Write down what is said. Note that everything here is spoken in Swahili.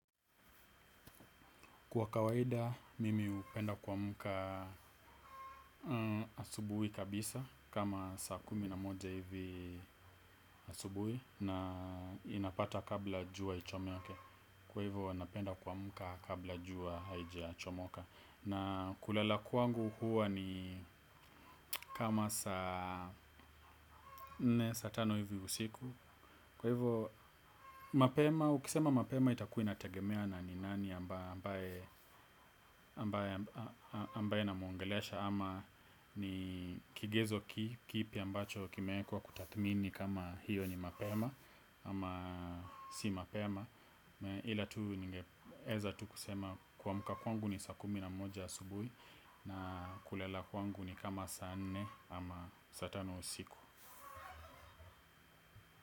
Kwa kawaida, mimi hupenda kuamka asubuhi kabisa, kama saa kumi na moja hivi asubuhi, na inapata kabla jua ichomeke, kwa hivo napenda kuamka kabla jua haijachomoka. Na kulala kwangu huwa ni kama saa nne, saa tano hivi siku. Kwa hivyo mapema, ukisema mapema itakuwa inategemea na ni nani ambaye namuongelesha ama ni kigezo kipi ambacho kimeekwa kutathmini kama hiyo ni mapema, ama si mapema. Ila tu ningeeza tu kusema kuamka kwangu ni saa kumi na moja asubuhi, na kulala kwangu ni kama saa nne ama saa tano usiku.